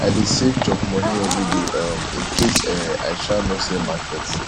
i dey save chop moni everyday um incase um i um no sell market